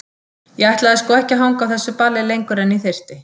Ég ætlaði sko ekki að hanga á þessu balli lengur en ég þyrfti.